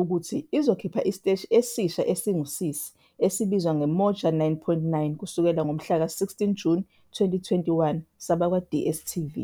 ukuthi izokhipha isiteshi esisha esingusisi esibizwa ngeMoja 9.9 kusuka ngomhlaka 16 Juni 2021 sabakwaDStv